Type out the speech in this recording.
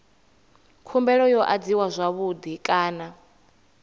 khumbelo yo adziwa zwavhui kana